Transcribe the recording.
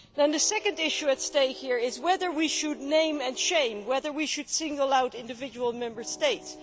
The second issue at stake here is whether we should name and shame, whether we should single out individual Member States.